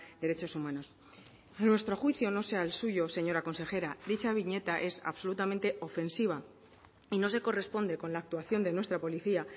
derechos humanos a nuestro juicio no sé al suyo señora consejera dicha viñeta es absolutamente ofensiva y no se corresponde con la actuación de nuestra policía